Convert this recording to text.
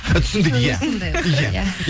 і түсіндік иә иә